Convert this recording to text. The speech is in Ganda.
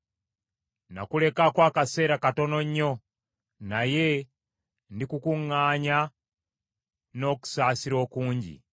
“Nakulekako akaseera katono nnyo; naye ndikukuŋŋaanya n’okusaasira okungi.